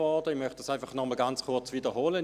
Ich möchte ihn kurz wiederholen: